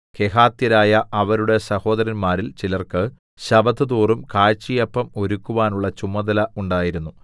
കെഹാത്യരായ അവരുടെ സഹോദരന്മാരിൽ ചിലർക്കു ശബ്ബത്തുതോറും കാഴ്ചയപ്പം ഒരുക്കുവാനുള്ള ചുമതല ഉണ്ടായിരുന്നു